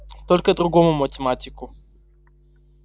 только другому математику